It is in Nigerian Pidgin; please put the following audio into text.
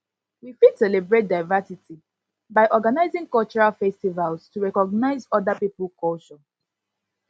we fit celebrate diversity by organising cultural festivals to recognise oda pipo culture